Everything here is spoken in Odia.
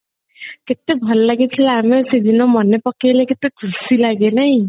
କେତେ ଭଲ ଲାଗିଥିଲା ଆମେ ସେଦିନ ମନେ ପକେଇଲେ ପକେଇଲେ କେତେ ଖୁସି ଲାଗେ ନାଇଁ